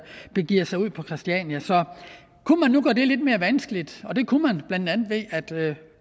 begiver sig ud på christiania så kunne man gøre det lidt mere vanskeligt og det kunne man blandt andet ved at